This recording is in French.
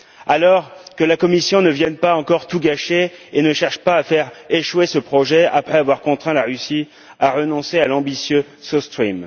Alors, que la Commission ne vienne pas encore tout gâcher et ne cherche pas à faire échouer ce projet après avoir contraint la Russie à renoncer à l'ambitieux South Stream